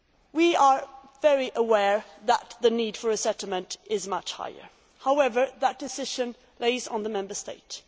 We are very aware that the need for a settlement is much greater. However, that decision rests with the Member States.